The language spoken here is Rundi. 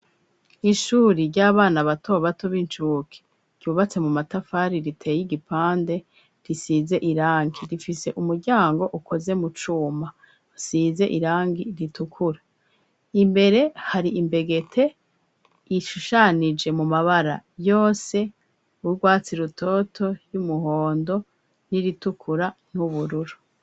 Kw'ishure ry'abana bato bato ryubatse mu matafari aturiye igipande risize irangi rifise umuryango ukoze mu cuma usize irangi ritukura imbere hari imbegeti ishushanije mu mabara yose urwatsi rutoto ry'umuhondo n'iritukura n'ubururu.